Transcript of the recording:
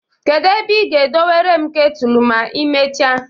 Kedu ebe ị ga-dewore m ketulu ma i mechaa?